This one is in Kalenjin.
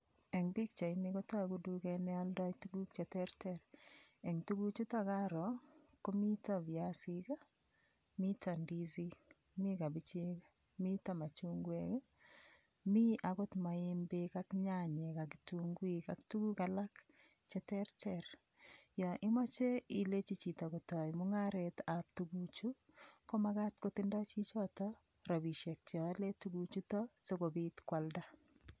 Eng' pikchaini kotoku tuget neoldoi tukuk cheterter eng' tukuchuto karo komito viasik mito ndisik mi kabichek mito machungwek mi akot maembek ak nyanyek ak kitunguik ak tukuk alak cheterter yo imoche ilechi chito kotoi mung'aretab tukuchu komakat kotindoi chichito rabishek cheole tukuchuto sikobit kwalda